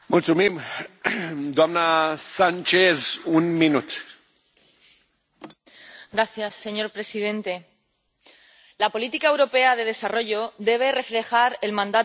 Señor presidente, la política europea de desarrollo debe reflejar el mandato de esta Cámara, empezando por la implementación de estrategias para alcanzar los Objetivos de Desarrollo Sostenible.